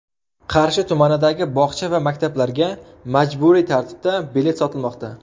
Qarshi tumanidagi bog‘cha va maktablarga majburiy tartibda bilet sotilmoqda.